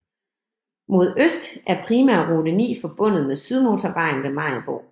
Mod øst er primærrute 9 forbundet med Sydmotorvejen ved Maribo